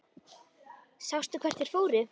Sástu hvert þeir fóru?